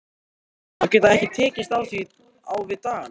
Hún að geta ekki tekist á við dagana.